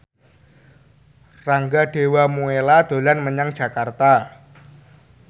Rangga Dewamoela dolan menyang Jakarta